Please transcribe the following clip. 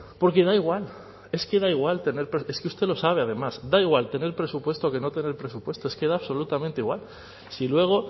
porque da igual es que da igual tener es que usted lo sabe además da igual tener presupuesto que no tener presupuesto es que da absolutamente igual si luego